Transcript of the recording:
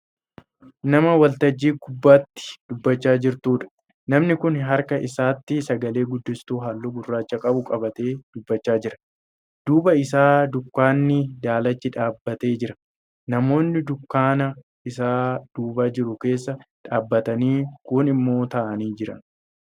Nama waltajjii gunbaatti dubbachaa jirtudha. namni Kuni harka isaatti sagale-guddistuu halluu gurracha qabu qabatee dubbachaa jira. duuba isaa dunkaanni daalachi dhaabbatee jira. namoonni dunkaana Isa duuba jiru keessa dhaabatanii kuun immoo taa'anii Jiran.